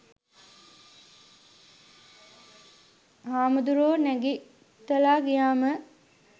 හාමුදුරුවෝ නැගිටල ගියහම